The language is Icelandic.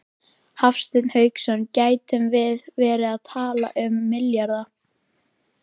Hafsteinn Hauksson: Gætum við verið að tala um milljarða?